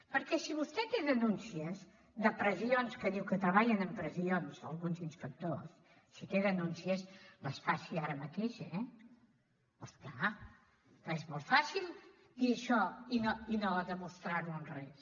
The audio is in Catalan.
perquè si vostè té denúncies de pressions que diu que treballen amb pressions alguns inspectors si té denúncies les faci ara mateix eh oh és clar perquè és molt fàcil dir això i no demostrar ho amb res